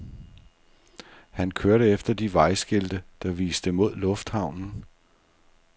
Han kørte efter de vejskilte, der viste mod lufthavnen.